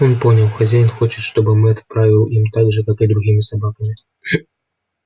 он понял хозяин хочет чтобы мэтт правил им так же как и другими собаками